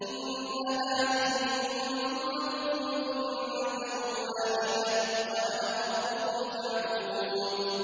إِنَّ هَٰذِهِ أُمَّتُكُمْ أُمَّةً وَاحِدَةً وَأَنَا رَبُّكُمْ فَاعْبُدُونِ